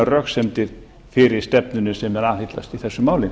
röksemdir fyrir stefnunni sem þeir aðhyllast í þessu máli